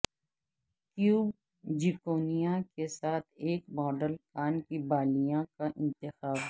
cube zirconia کے ساتھ ایک ماڈل کان کی بالیاں کا انتخاب